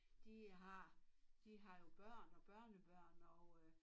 De øh har de har jo børn og børnebørn og øh